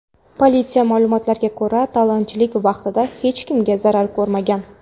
Politsiya ma’lumotiga ko‘ra, talonchilik vaqtida hech kim zarar ko‘rmagan.